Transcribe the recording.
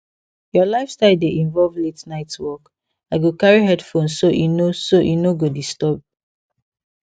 your lifestyle dey involve la ten ight work i go carry headphone so e no so e no go disturb